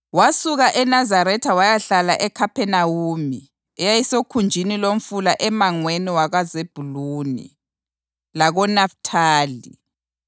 Wasuka eNazaretha wayahlala eKhaphenawume eyayisokhunjini lomfula emangweni wakoZebhuluni lakoNafithali,